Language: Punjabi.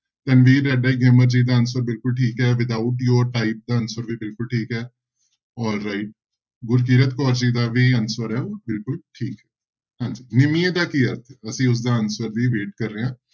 ਜੀ ਦਾ answer ਬਿਲਕੁਲ ਠੀਕ ਹੈ without ਦਾ answer ਵੀ ਬਿਲਕੁਲ ਠੀਕ ਹੈ all right ਗੁਰਕਿਰਤ ਕੌਰ ਜੀ ਦਾ ਵੀ answer ਹੈ ਉਹ ਬਿਲਕੁਲ ਠੀਕ ਹੈ ਹਾਂਂਜੀ ਨਿਮੀਏ ਦਾ ਕੀ ਅਰਥ ਅਸੀਂ ਉਸਦਾ answer ਦੀ wait ਕਰ ਰਹੇ ਹਾਂ।